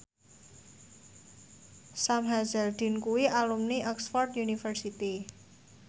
Sam Hazeldine kuwi alumni Oxford university